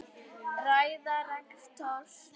Ræða rektors